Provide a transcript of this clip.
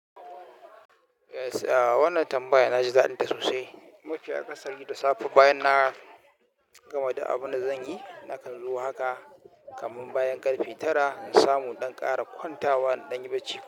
Eh, wannan tambaya na ji daɗinta sosai. Mafi akasari gida safe bayan na gama da abun da zan yi, na kan zo haka kamin bayan ƙarfe tara in samu ɗan ƙara kwanta wa ɗan yi bacci.